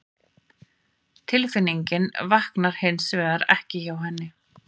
Tilfinningin vaknar hins vegar ekki hjá henni